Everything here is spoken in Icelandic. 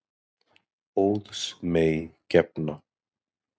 Óðs mey gefna.